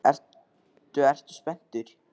Ertu, ertu spenntur?